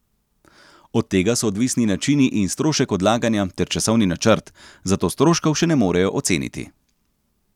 Od tega so odvisni načini in strošek odlaganja ter časovni načrt, zato stroškov še ne morejo oceniti.